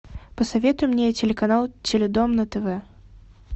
посоветуй мне телеканал теледом на тв